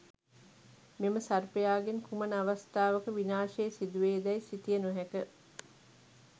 මෙම සර්පයාගෙන් කුමන අවස්ථාවක විනාශය සිදුවේදැයි සිතිය නොහැක.